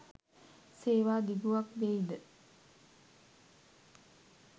සේවා දිගුවක් දෙයි ද